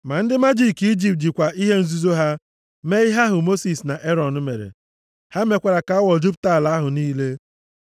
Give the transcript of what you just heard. Ma ndị majiki Ijipt jikwa ihe nzuzo ha mee ihe ahụ Mosis na Erọn mere. Ha mekwara ka awọ jupụta ala ahụ niile.